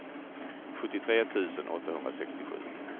sjuttiotre tusen åttahundrasextiosju